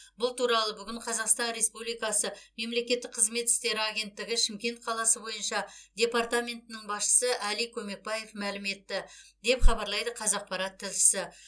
бұл туралы бүгін қазақстан республикасы мемлекеттік қызмет істері агенттігі шымкент қаласы бойынша департаментінің басшысы әли көмекбаев мәлім етті деп хабарлайды қазақпарат тілшісі